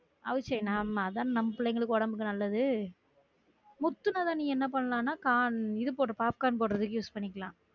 அவிச்ச நம்ம அதான நம்ம பிள்ளைங்களுக்கு ஒடம்புக்கு நல்லது முத்துனத நீ ஏன்னா பண்ணலாம்னா corn இது போடு popcorn போடுறதுக்கு use பண்ணிக்கலாம்